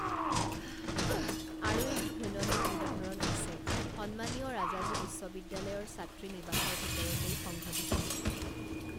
আৰু এটি ঘৃণনীয় উদাহৰণ আছে সন্মানীয় ৰাজাজী বিশ্ববিদ্যালয়ৰ ছাত্ৰী নিৱাসৰ ভিতৰতেই সংঘটিত